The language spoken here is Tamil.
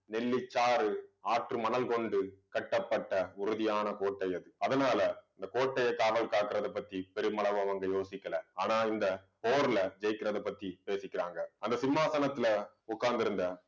நெல்லிச்சாறு ஆற்று மணல் கொண்டு கட்டப்பட்ட உறுதியான கோட்டை அது. அதனால இந்த கோட்டையை காவல் காக்கறதைப் பத்தி பெருமளவு வந்து யோசிக்கலை. ஆனா இந்தப் போரிலே ஜெயிக்கிறதைப் பத்தி பேசிக்கிறாங்க. அந்த சிம்மாசனத்திலே உட்கார்ந்திருந்த